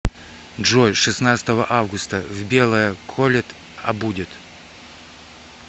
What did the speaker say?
джой шестнадцатого августа в белое колет а будет